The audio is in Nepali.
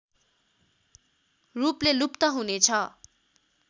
रूपले लुप्त हुनेछ